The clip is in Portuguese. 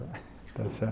Está certo.